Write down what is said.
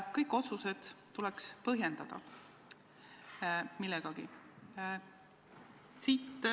Kõiki otsuseid tuleks millegagi põhjendada.